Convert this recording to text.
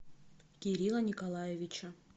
кирилла николаевича